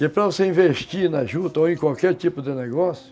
Que para você investir na juta ou em qualquer tipo de negócio,